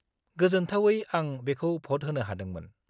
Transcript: -गोजोन्थावै आं बेखौ भ'ट होनो हादोंमोन।